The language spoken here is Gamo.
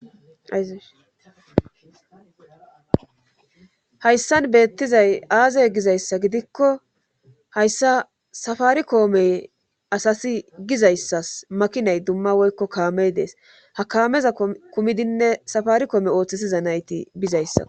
Asihayssan beettizay aazey gizayssa gidikko hayssa safaari koomey asasi gizayssas makinay dumma woykko kaamey dees ha kameza kumidinne safari koome ooththisiza nayti bizayssa.